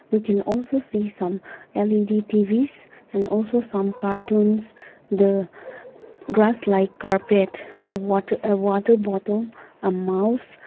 we can also see some L_E_D T_Vs and also some cartoons the grass like carpet the water water bottle mouse--